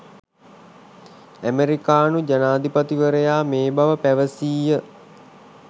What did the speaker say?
ඇමෙරිකානු ජනාධිපතිවරයා මේ බව පැවසීය